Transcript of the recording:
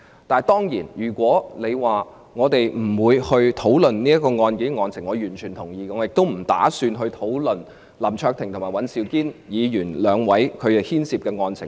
當然，如果你說我們不應討論仍處於司法程序的案件，我完全同意；我既不打算也絕無意思討論林卓廷議員和尹兆堅議員所牽涉的案情。